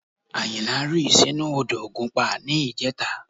Àyìnlá rì sínú odò ògùnpa ní ìjẹta